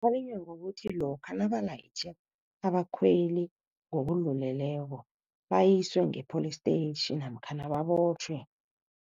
ngokuthi lokha nabalayitjhe abakhweli ngokudluleleko bayiswe ngepholistetjhi namkhana babotjhwe.